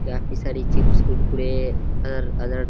काफी सारी चिप्स कुरकुरे हर अलग --